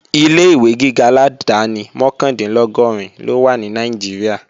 Ilé-ìwé gíga aládáni mọ́kàndínlọ́gọ́rin ló wà ní Nàìjíríà